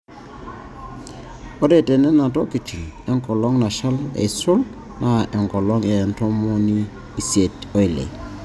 Ore tene nenotoki enkolong nashal aisul naa enkolong e ntomoni isiet oile.